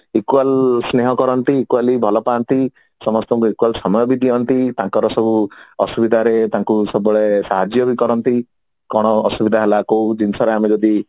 equal ସ୍ନେହ କରନ୍ତି equally ଭଲ ପାଆନ୍ତି ସମସ୍ତଙ୍କୁ equally ସମୟ ବି ଦିଅନ୍ତି ତାଙ୍କର ସବୁ ଆସୁବିଧାରେ ତାଙ୍କୁ ସବୁବେଳେ ସାହାଜ୍ୟ ବି କରନ୍ତି କଣ ଅସୁବିଧା ହେଲା କୋଉ ଜିନିଷରେ ଆମେ ଯଦି